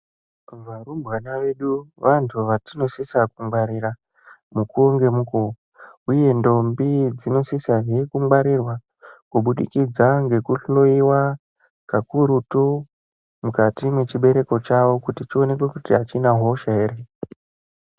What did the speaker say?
Varumbwana vedu vantu vatinosisa kungwarira mukuwo ngemukuwo uye ndombi dzinosisa he kungwarirwa kubudikidza ngekuhloiwa kakurutu mukati mwechibereko chawo kuti chionekwe kuti achina hosha here.